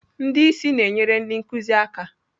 Ndị isi na-enyere ndị nkuzi aka.